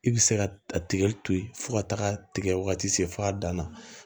I bɛ se ka a tigɛ to ye fo ka taga tigɛ wagati se a dan na